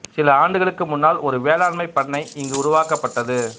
சில ஆண்டுகளுக்கு முன்னால் ஒரு வேளாண்மைப் பண்ணை இங்கு உருவாக்கப்பட்டது